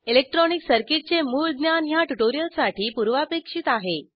electronic circuit चे मूळ ज्ञान ह्या ट्यूटोरियलसाठी पूर्वापेक्षित आहे